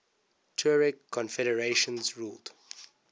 tuareg confederations ruled